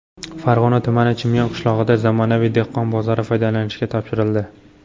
Farg‘ona tumani Chimyon qishlog‘ida zamonaviy dehqon bozori foydalanishga topshirildi.